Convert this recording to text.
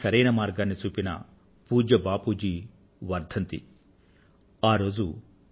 మనందరికీ సరైన మార్గాన్ని చూపిన పూజ్య బాపూ జీ వర్ధంతి జనవరి ముఫ్ఫై వ తేదీ న